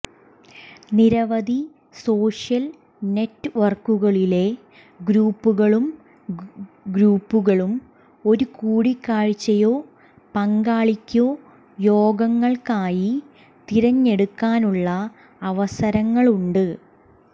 നിരവധി സോഷ്യൽ നെറ്റ്വർക്കുകളിലെ ഗ്രൂപ്പുകളും ഗ്രൂപ്പുകളും ഒരു കൂടിക്കാഴ്ചയോ പങ്കാളിയ്ക്കോ യോഗങ്ങൾക്കായി തിരഞ്ഞെടുക്കാനുള്ള അവസരങ്ങളുണ്ട്